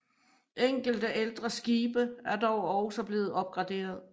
Enkelte ældre skibe er dog også blevet opgraderet